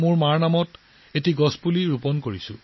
মাৰ নামত গছ ৰোপণ কৰিছো